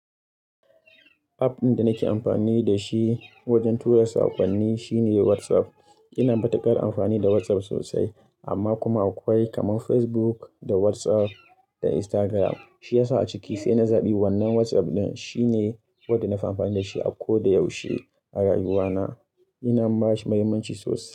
App ɗin da nake amfani da shi wajen tura sakonni shine WhatsApp. Ina matuƙar amfani da WhatsApp sosai, amma kuma akwai kamar Facebook da WhatsApp da Instagram. Shi yasa a ciki sai na zaɓi wannan WhatsApp ɗin. Shi ne wanda na fahimci da shi a ko da yaushe a rayuwana. Ina masa muhimmanci sosai.